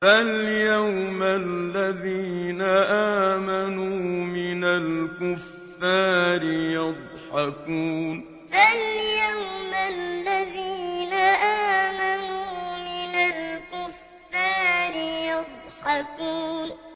فَالْيَوْمَ الَّذِينَ آمَنُوا مِنَ الْكُفَّارِ يَضْحَكُونَ فَالْيَوْمَ الَّذِينَ آمَنُوا مِنَ الْكُفَّارِ يَضْحَكُونَ